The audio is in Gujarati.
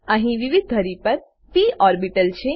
અહી વિવિધ ધરી પર પ ઓર્બીટલ છે